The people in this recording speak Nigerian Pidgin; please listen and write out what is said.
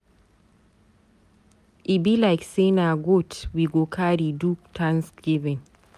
E be like say na goat we go carry do Thanksgiving.